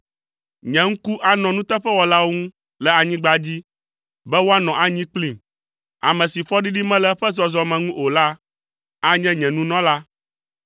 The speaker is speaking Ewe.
Nye ŋku anɔ nuteƒewɔlawo ŋu le anyigba dzi, be woanɔ anyi kplim. Ame si fɔɖiɖi mele eƒe zɔzɔme ŋu o la, anye nye nunɔla.